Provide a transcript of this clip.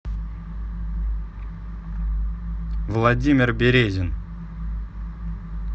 владимир березин